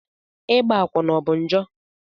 Ịgba akwụna ọ bụ njọ?